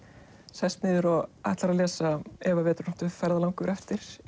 sest niður og ætlar að lesa ef að vetrarnóttu ferðalangur eftir